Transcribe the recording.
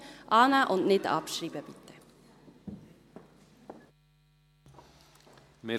Annehmen und nicht abschreiben, bitte!